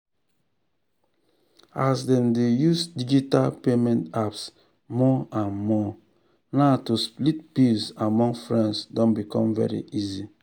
as dem dey use digital payment apps more and more now to split bills among friends don become very easy.